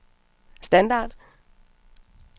standard